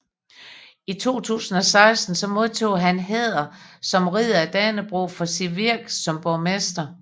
I 2016 modtog han hæder som Ridder af Dannebrog for sit virke som borgmester